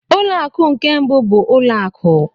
Ụlọ akụ nke mbụ bụ ụlọ akụ.